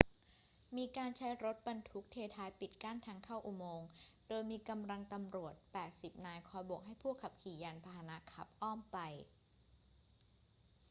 มีการใช้รถบรรทุกเทท้ายปิดกั้นทางเข้าอุโมงค์ โดยมีกำลังตำรวจ 80 นายคอยโบกให้ผู้ขับขี่ยานพาหนะขับอ้อมไป